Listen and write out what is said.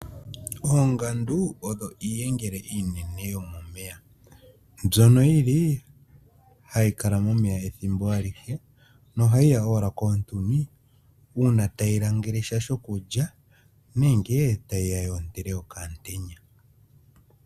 Oongandu odho iiyengele iinene yomomeya mbyono yili hayi kala momeya ethimbo alihe nohayi ya owala koontuni uuna tayi langele sha shokulya nenge tayi ya yoontele okamutenya.